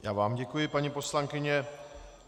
Já vám děkuji, paní poslankyně.